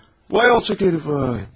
Vay alçaq hərifi vay.